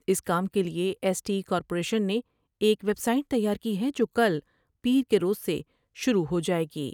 اس کام کے لئے ایس ٹی کارپوریشن نے ایک ویب سائٹ تیار کی ہے جوکل پیر کے روز سے شروع ہو جاۓ گی ۔